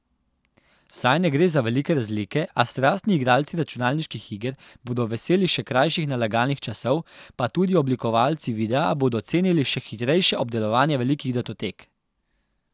Saj ne gre za velike razlike, a strastni igralci računalniških iger bodo veseli še krajših nalagalnih časov pa tudi oblikovalci videa bodo cenili še hitrejše obdelovanje velikih datotek.